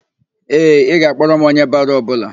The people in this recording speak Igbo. Ee, ị ga-akpọrọ m onye baro ọbụla.